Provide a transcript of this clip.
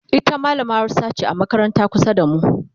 ita mallamar Hausa ce a makarantar kusa da mu